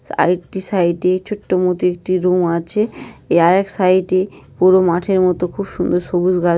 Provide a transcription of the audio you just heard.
আরেকটি সাইডে ছোট্ট মতো একটি রুম আছে। এ আর এক সাইডে পুরো মাঠের মতো খুব সুন্দর সবুজ গাছ।